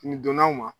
Nin donna u ma